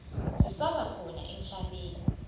zisaba khona emhlabeni